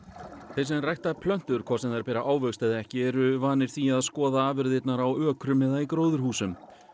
sem rækta plöntur hvort sem þær bera ávöxt eða ekki eru vanir því að skoða afurðirnar á ökrum eða í gróðurhúsum